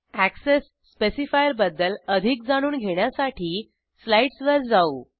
access specifier बद्दल अधिक जाणून घेण्यासाठी स्लाईडस वर जाऊ